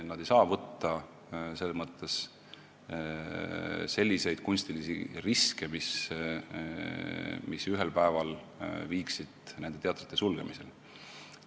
Nad ei saa võtta selles mõttes selliseid kunstilisi riske, mis ühel päeval viiksid nende sulgemiseni.